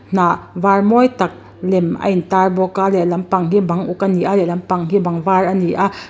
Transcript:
hnah var mawi tak lem a intar bawk a lehlampang hi bang uk a ni a lehlampang hi bang var a ni a --